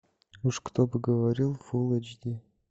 уж кто бы говорил фул эйч ди